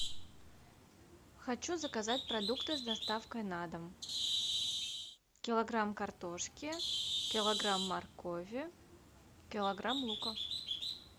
хочу заказать продукты с доставкой на дом килограмм картошки килограмм моркови килограмм лука